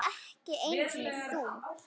Ekki einu sinni þú.